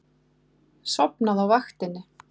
Sofnað á vaktinni.